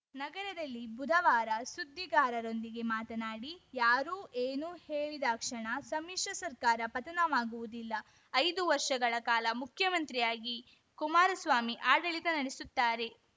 ನಗರದಲ್ಲಿ ಬುಧವಾರ ಸುದ್ದಿಗಾರರೊಂದಿಗೆ ಮಾತನಾಡಿ ಯಾರೋ ಏನೋ ಹೇಳಿದಾಕ್ಷಣ ಸಮ್ಮಿಶ್ರ ಸರ್ಕಾರ ಪತನವಾಗುವುದಿಲ್ಲ ಐದು ವರ್ಷಗಳ ಕಾಲ ಮುಖ್ಯಮಂತ್ರಿಯಾಗಿ ಕುಮಾರಸ್ವಾಮಿ ಆಡಳಿತ ನಡೆಸುತ್ತಾರೆ